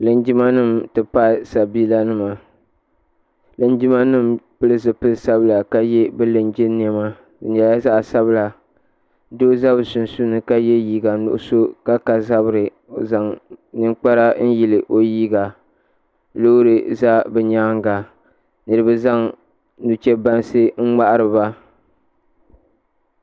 Linjimanim ti pahi sabiilanima. Linjimanim pili zipil sabila ka ye bɛ linjin niɛma. Di nyala zaɣ' sabila doo za bɛ sunsuuni ka ye liiga nuɣ'so ka ka zabiri. O zaŋ ninkpara n yili o liiga. loori za bɛ nyaaŋa. niriba zaŋ nuchebanansi n nyahiriba